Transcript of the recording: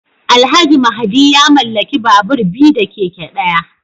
Alhaji Mahdi ya mallaki babur biyu da keke daya